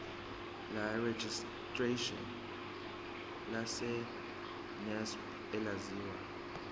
lerejistreshini lesacnasp elaziwa